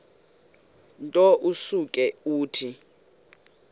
nto usuke uthi